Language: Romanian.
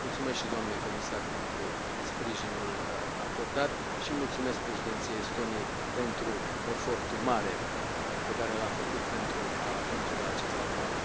Mulțumesc și doamnei comisar pentru sprijinul acordat și mulțumesc președinției Estoniei pentru efortul mare pe care l a făcut pentru a ajunge la acest acord.